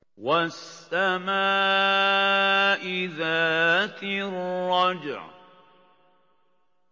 وَالسَّمَاءِ ذَاتِ الرَّجْعِ